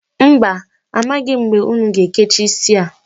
Mba, amaghi m mgbe unu ga-ekecha isi a.